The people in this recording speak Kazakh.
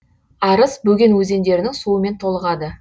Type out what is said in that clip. арыс бөген өзендерінің суымен толығады